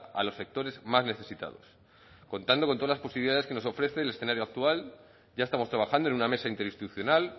a los sectores más necesitados contando con todas las posibilidades que nos ofrece el escenario actual ya estamos trabajando en una mesa interinstitucional